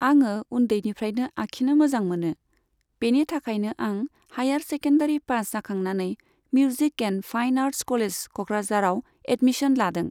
आङो उन्दैनिफ्रायनो आखिनो मोजां मोनो। बेनि थाखायनो आं हाइयार सेकेण्डारि फास जाखांनानै music and fine arts college क'क्राझाराव एदमिसन लादों।